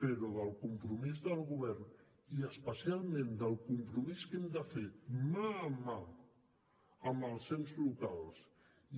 però del compromís del govern i especialment del compromís que hem de fer mà amb mà amb els ens locals